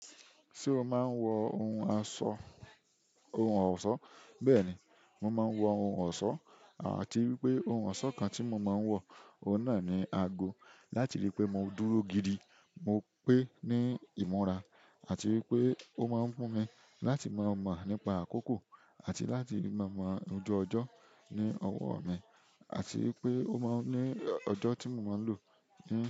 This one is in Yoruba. Ṣé o máa ń wọ ohun aṣọ, ohun ọ̀ṣọ́? Bẹ́ẹ̀ni, mo máa ń wọ ohun ọ̀ṣọ́. Àti wípé ohun ọ̀ṣọ́ kan tí mo máa ń wọ, ọ̀un na ni ago. Láti ri pẹ mo dúró gidi mo pe ni ìmúra àti wípé o mọ n mú mi láti mọ mọ nípa àkókò àti láti mọ mọ ojú ọjọ ni ọwọ́ mi àti wípé o mọ n ni ọjọ́ ti mo mọ n lo ni.